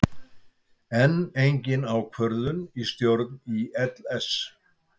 Enn engin ákvörðun í stjórn ÍLS